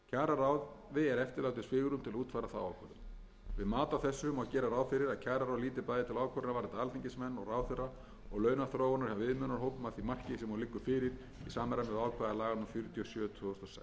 á þessu má gera ráð fyrir að kjararáð líti bæði til ákvörðunar varðandi alþingismenn og ráðherra og launaþróunar hjá viðmiðunarhópum að því marki sem hún liggur fyrir í samræmi við ákvæði laga númer fjörutíu og sjö tvö þúsund og sex samkvæmt frumvarpinu er gert ráð